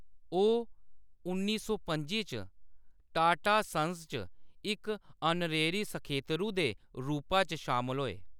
ओह्‌‌ उन्नी सौ पं'जी च टाटा सन्स च इक आनरेरी सखेत्तरू दे रूपा च शामल होए।